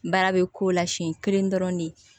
Baara bɛ k'o la siɲɛ kelen dɔrɔn de ye